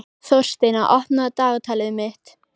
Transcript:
Þórsteina, opnaðu dagatalið mitt.